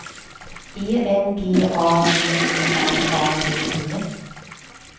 E N G A G E R A D E